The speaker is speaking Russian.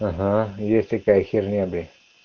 ага есть такая херня блять